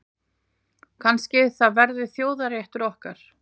Kannski það verði þjóðarréttur okkar.